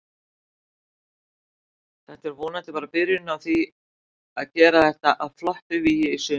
Þetta er vonandi bara byrjunin á því að gera þetta að flottu vígi í sumar.